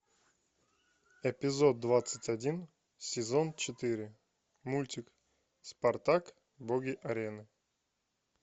эпизод двадцать один сезон четыре мультик спартак боги арены